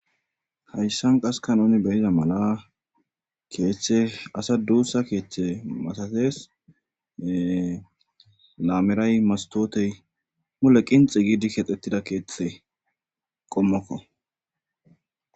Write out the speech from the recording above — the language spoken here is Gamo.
hayssan qaska nuni beyiza mala keeththe asa duussa keeththe masates laameray mastootey mule qinxi giidi kexxettida keexxe qommokko